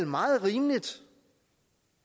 meget rimeligt